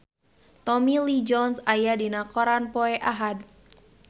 Tommy Lee Jones aya dina koran poe Ahad